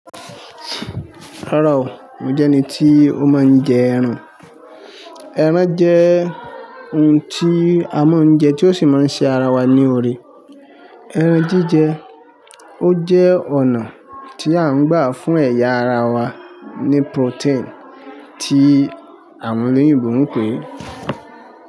Rárá o, mo jẹ́ ẹni tí ó máa ń jẹ ẹran. Ẹran jẹ́ oun tí a máa ń jẹ tí ó sì máa ń ṣe ara wa ní oore. Ẹran jíjẹ, o jẹ́ ọ̀nà tí à ń gbà fún ẹ̀yà ara wa ní protein tí àwọn olóyìnbó ń pè é.